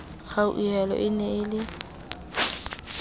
kgauhelo e ne e le